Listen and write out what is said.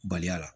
Baliya la